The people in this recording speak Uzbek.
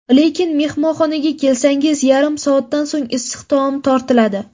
Lekin mehmonga kelsangiz yarim soatdan so‘ng issiq taom tortiladi.